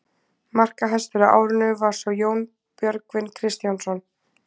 Markahæstur á árinu var svo Jón Björgvin Kristjánsson.